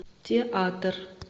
театр